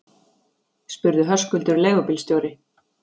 spurði Höskuldur leigubílstjóri.